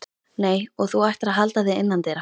Nei, og þú ættir að halda þig innandyra.